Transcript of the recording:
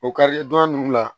O kari don dugu la